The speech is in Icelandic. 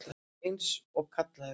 Eins og kallaður.